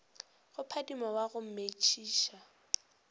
go phadima wa go metšiša